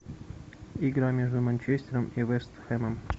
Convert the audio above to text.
игра между манчестером и вест хэмом